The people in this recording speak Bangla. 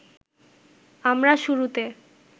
আমরা শুরুতে